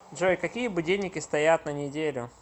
джой какие будильники стоят на неделю